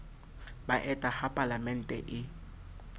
ba eta ha palaemente e